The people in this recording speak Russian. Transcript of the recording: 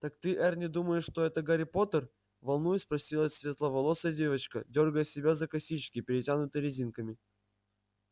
так ты эрни думаешь что это гарри поттер волнуясь спросила светловолосая девочка дёргая себя за косички перетянутые резинками